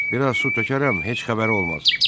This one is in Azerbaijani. Bir az su tökərəm, heç xəbəri olmaz.